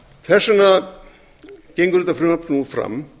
þess vegna gengur þetta frumvarp nú fram